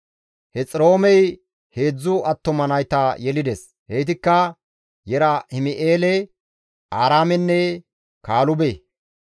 Hexiroomey heedzdzu attuma nayta yelides; heytikka Yerahim7eele, Aaraamenne Kaalube.